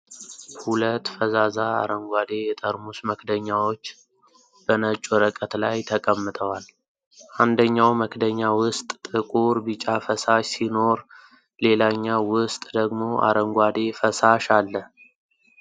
ሁለት ፈዛዛ አረንጓዴ የጠርሙስ መክደኛዎች በነጭ ወረቀት ላይ ተቀምጠዋል። አንደኛው መክደኛ ውስጥ ጥቁር ቢጫ ፈሳሽ ሲኖር ሌላኛው ውስጥ ደግሞ አረንጓዴ ፈሳሽ አለ።